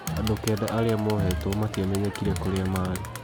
Andũ kenda arĩa mohetwo matiamenyekete kũrĩa maari.